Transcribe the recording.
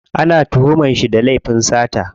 Ana tuhuman shi da laifin sata.